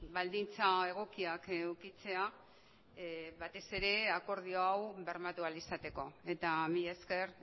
baldintza egokiak edukitzea batez ere akordio hau bermatu ahal izateko eta mila esker